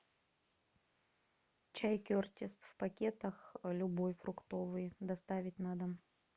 чай кертис в пакетах любой фруктовый доставить на дом